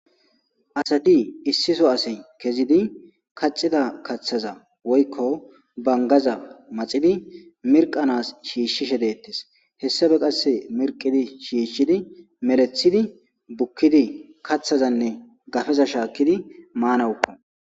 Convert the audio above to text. Asati issi soo asi kezidi kaxida kaththaza woykko bangaza maxidi mirqanas shiishshishe dettes hessafe qasse mirqidi shiishshidi meleththidi bukkidi kaththazanne gafeza shaakkidi maanawukko